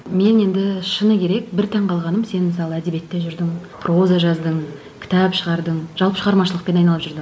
мен енді шыны керек бір таңғалғаным сен мысалы әдебиетте жүрдің проза жаздың кітап шығардың жалпы шығармашылықпен айналып жүрдің